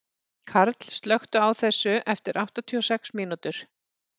Karl, slökktu á þessu eftir áttatíu og sex mínútur.